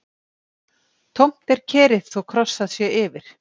Tómt er kerið þó krossað sé yfir.